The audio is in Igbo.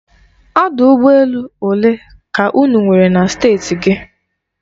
Ọdụ ụgbọ elu olee ka unu nwere na Steeti gị?